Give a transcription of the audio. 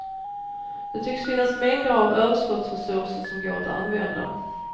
Det tycks finnas mängder av överskottsresurser som går att använda.